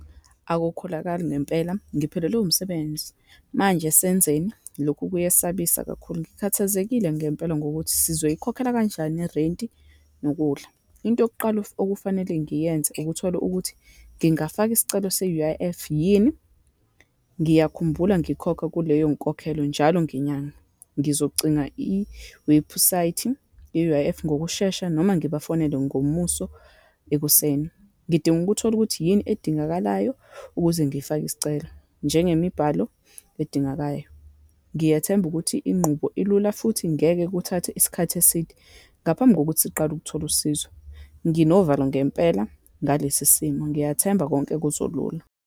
Akukholakali ngempela, ngiphelelwe umsebenzi. Manje senzeni? Lokhu kuyesabisa kakhulu. Ngikhathazekile ngempela ngokuthi sizoyikhokhela kanjani irenti, nokudla. Into yokuqala okufanele ngiyenze, ukuthola ukuthi ngingafaka isicelo se-U_I_F yini? Ngiyakhumbula ngikhokha kuleyo nkokhelo njalo ngenyanga. Ngizocinga iwebhusayithi ye-U_I_F ngokushesha, noma ngibafonele ngomuso ekuseni. Ngidinga ukuthola ukuthi yini edingakalayo ukuze ngifake isicelo, njengemibhalo edingakayo. Ngiyethemba ukuthi inqubo ilula futhi ngeke kuthathe isikhathi eside ngaphambi kokuthi siqale ukuthola usizo. Nginovalo ngempela ngalesi simo, ngiyathemba konke kuzolulu.